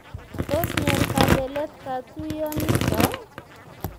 Tos nyor kabeleet katuiyonito ?